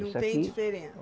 Não tem diferen